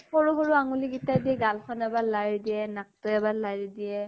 সৰু সৰু আঙলী কিতাই দি গাল খন এবাৰ লাৰি দিয়ে, নাক তো এবাৰ লাৰি দিয়ে ।